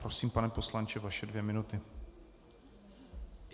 Prosím, pane poslanče, vaše dvě minuty.